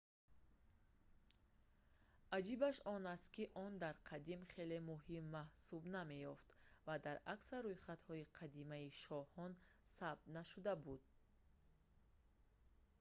аҷибаш он аст ки он дар қадим хеле муҳим маҳсуб намеёфт ва дар аксар рӯйхатҳои қадимаи шоҳон сабт нашуда буд